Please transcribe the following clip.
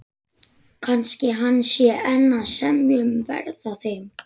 Kannski hann sé enn að semja um verð á þeim.